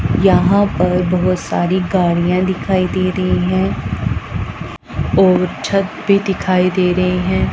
यहां पर बहोत सारी गाड़ियां दिखाई दे रही हैं और छत भी दिखाई दे रहे हैं।